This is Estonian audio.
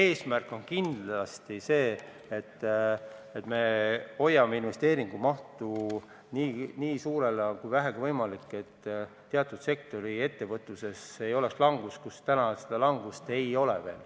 Eesmärk on kindlasti see, et me hoiame investeeringute mahtu nii suurena, kui vähegi võimalik, et teatud sektorite ettevõtluses, kus täna ei ole langust, seda langust ka ei tuleks.